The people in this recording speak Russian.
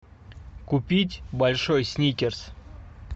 купить большой сникерс